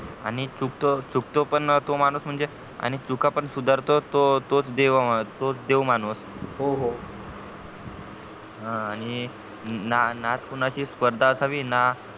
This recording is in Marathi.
आणि चुकतो चुकतो पण तो माणूस म्हणजे आणि चुका पण सुधारतो तो देवा तोच देव माणूस हो हो आणि ना कोणाची स्पर्धा आणावी ना